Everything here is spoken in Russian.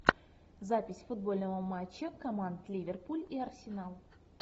запись футбольного матча команд ливерпуль и арсенал